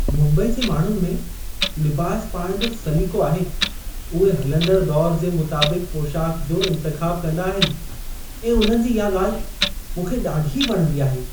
मुम्बई जे माण्हुनि में लिबास पाइणु जो सलीक़ो आहे. उहे हलंदड़ु दौरु जे मुताबिक़ु पोशाकु जो इंतिख़ाबु कंदा आहिनि ऐं उन्हनि जी इहा ॻाल्हि मूंखे ॾाढी वणंदी आहे।